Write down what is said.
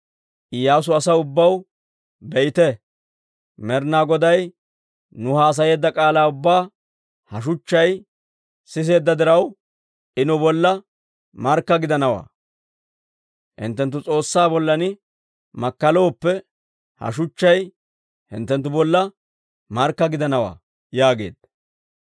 Iyyaasu asaw ubbaw, «Be'ite, Med'ina Goday nuw haasayeedda k'aalaa ubbaa ha shuchchay siseedda diraw, I nu bolla markka gidanawaa. Hinttenttu S'oossaa bollan makkalooppe, ha shuchchay hinttenttu bolla markka gidanawaa» yaageedda.